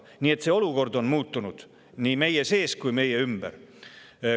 Nii et see olukord on muutunud nii meie sees kui ka meie ümber.